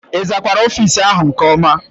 Ị zakwara ofiisi áhụ̀ nke ọma?